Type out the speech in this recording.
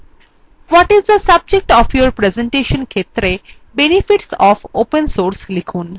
what is the subject of your presentation ক্ষেত্রে benefits of open source লিখুন